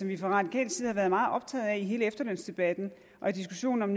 vi fra radikal side har været meget optaget af i hele efterlønsdebatten og i diskussionen om